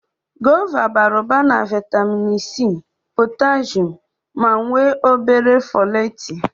Gova bara ụba na vaịtamịn C, potashum ma nwee o bere fọleetị.